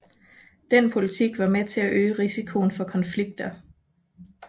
Den politik var med til at øge risikoen for konflikter